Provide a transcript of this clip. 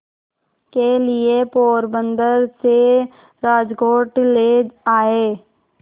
के लिए पोरबंदर से राजकोट ले आए